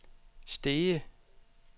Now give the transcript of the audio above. Stege